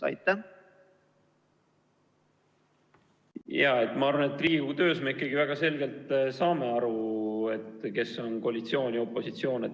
Ma arvan, et Riigikogu töös me ikkagi väga selgelt saame aru, kes on koalitsioon ja kes on opositsioon.